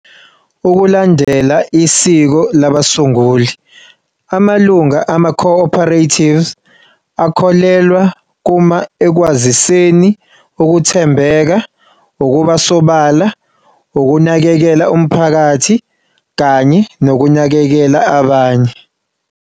Ukulandela isiko labasunguli, amalunga amaco-operatives akholelwa kuma-ekwaziseni ukuthembeka, ukuba sobala, ukunakekela umphakathi kanye nokunakekela abanye.